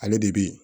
Ale de bɛ yen